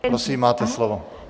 Prosím, máte slovo.